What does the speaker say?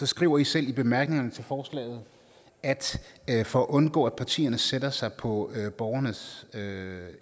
skriver i selv i bemærkningerne til forslaget at for at undgå at partierne sætter sig på borgernes